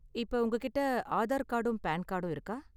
இப்ப உங்ககிட்டே ஆதார் கார்டும் பான் கார்டும் இருக்கா?